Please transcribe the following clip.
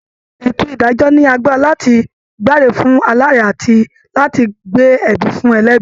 Ètò ìdájọ́ ní agbára láti dáre fún aláre àti láti gbé ẹ̀bi fún ẹlẹ́bi